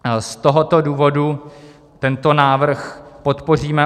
Z tohoto důvodu tento návrh podpoříme.